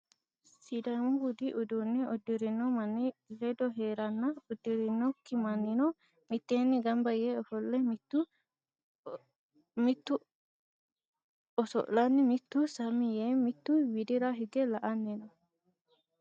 Sidaamu budu uduunne uddi'rino manni ledo heeranna uddireewokki mannino mitteenni gamba yee ofolle mitu oso'lanni mitu sammi yee mittu widira hige la"anni no.